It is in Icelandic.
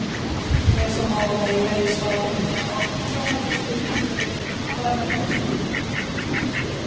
Lesa má meira í svari Unnars Árnasonar við spurningunni Hvar var fyrsti píramídinn?